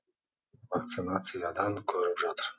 вакцинациядан көріп жатыр